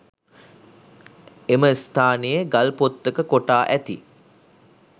එම ස්ථානයේ ගල්පොත්තක කොටා ඇති